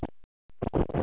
Er það sanngjarnt?